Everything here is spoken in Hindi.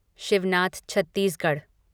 शिवनाथ छत्तीसगढ़